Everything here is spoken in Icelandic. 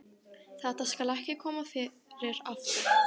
Þetta skal ekki koma fyrir aftur.